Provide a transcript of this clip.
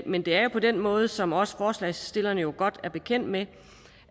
men det er jo på den måde som også forslagsstillerne godt er bekendt med